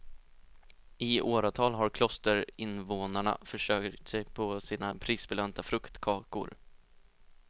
I åratal har klosterinvånarna försörjt sig på sina prisbelönta fruktkakor.